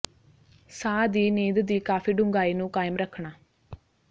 ਸਾਹ ਦੀ ਨੀਂਦ ਦੀ ਕਾਫੀ ਡੂੰਘਾਈ ਨੂੰ ਕਾਇਮ ਰੱਖਣਾ